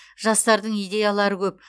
жастардың идеялары көп